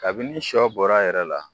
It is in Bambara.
Kabini sɔ bɔr'a yɛrɛ la